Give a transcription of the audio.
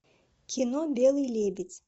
кино белый лебедь